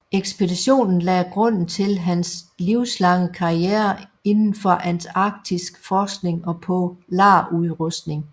Ekspeditionen lagde grunden til hans livslange karriere indenfor antarktisk forskning og polarudrustning